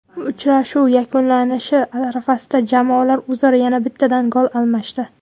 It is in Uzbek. Uchrashuv yakunlanishi arafasida jamoalar o‘zaro yana bittadan gol almashdi.